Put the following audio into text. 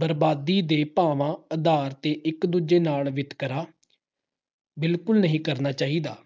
ਬਰਾਬਰੀ ਦੇ ਭਾਵਨਾ ਆਧਾਰ ਤੇ ਇਕ ਦੂਜੇ ਨਾਲ ਵਿਤਕਰਾ ਬਿਲਕੁਲ ਨਹੀਂ ਕਰਨਾ ਚਾਹੀਦਾ।